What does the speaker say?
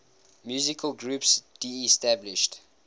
musical groups disestablished